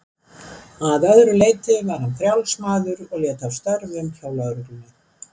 Að öðru leyti var hann frjáls maður og lét af störfum hjá lögreglunni.